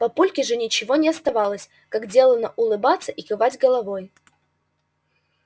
папульке же ничего не оставалось как делано улыбаться и кивать головой